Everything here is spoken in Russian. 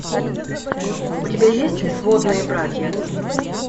у тебя есть сводные братья